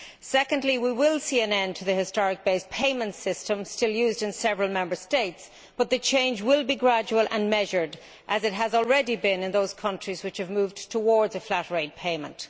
Secondly, we will see an end to the historic based payment system still used in several Member States, but the change will be gradual and measured, as it has already been in those countries which have moved towards a flat rate payment.